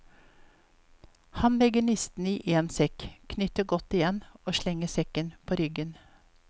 Han legger all nisten i én sekk, knyter godt igjen og slenger sekken på ryggen.